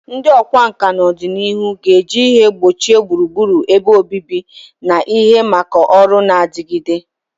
Ndị ọkwá nkà na ọdịnihu ga-eji ihe ngbochi gburugburu ebe obibi na ihe maka ọrụ na-adigide.